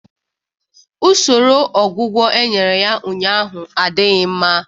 Usoro ọgwụgwọ e nyere ya ụnyaahụ adịghị mma